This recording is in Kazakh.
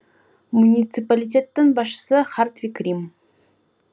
муниципалитеттің басшысы хартвиг рим